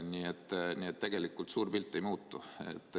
Nii et tegelikult suur pilt ei muutu.